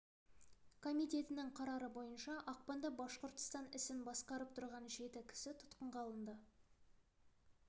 комитетінің қарары бойынша ақпанда башқұртстан ісін басқарып тұрған жеті кісі тұтқынға алынды